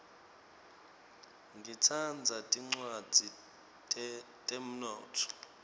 ngitsandza tincwadzi tetemnotfo